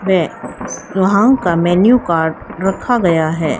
वे वहां का menu card रखा गया है।